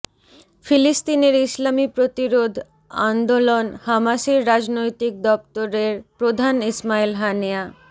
ফিলিস্তিনের ইসলামি প্রতিরোধ আন্দোলন হামাসের রাজনৈতিক দপ্তরের প্রধান ইসমাইল হানিয়া